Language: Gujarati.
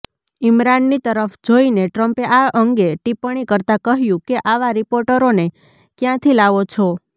ઈમરાનની તરફ જોઈને ટ્રમ્પે આ અંગે ટિપ્પણી કરતા કહ્યું કે આવા રિપોર્ટરોને કયાંથી લાવો છો